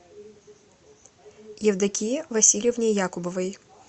евдокии васильевне якубовой